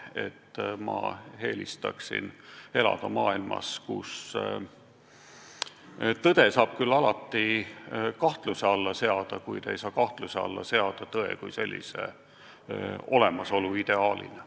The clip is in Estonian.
Aga ma eelistaksin elada maailmas, kus tõde saab küll alati kahtluse alla seada, kuid ei saa kahtluse alla seada tõe kui sellise olemasolu ideaalina.